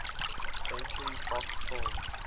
century fox films